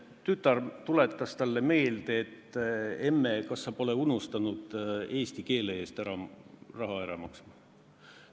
Tütar tuletas talle meelde, et, emme, kas sa pole unustanud eesti keele eest raha ära maksta.